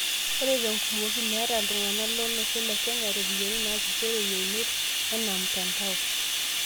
Ore te nkumoki, meeta iltung'anak lo Olosho le Kenya ropiyani narisiore yeunot ena mtandao.